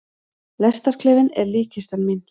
Lestarklefinn er líkkistan mín.